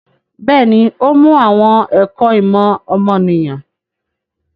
Bẹ́ẹ̀ni, ó mú àwọn ẹ̀kọ́ ìmọ̀ ọmọnìyàn.